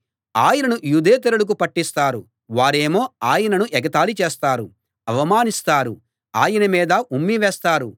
ఆయనను యూదేతరులకు పట్టిస్తారు వారేమో ఆయనను ఎగతాళి చేస్తారు అవమానిస్తారు ఆయన మీద ఉమ్మి వేస్తారు